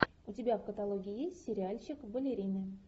у тебя в каталоге есть сериальчик балерины